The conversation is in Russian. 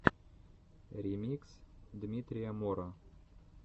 ремикс дмитрия мора